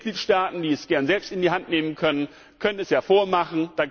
Und die Mitgliedstaaten, die es gern selbst in die Hand nehmen können, können es ja vormachen.